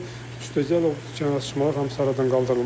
Üstəgəl o cərimə açılmalar hamısı aradan qaldırılmalıdır.